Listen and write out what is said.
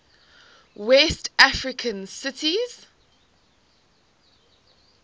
west african countries